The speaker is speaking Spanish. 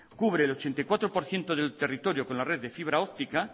cubre el ochenta y cuatro por ciento del territorio con la red de fibra óptica